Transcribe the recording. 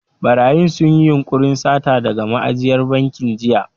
Ɓarayin sun yi yunƙurin sata daga ma'ajiyar bankin jiya.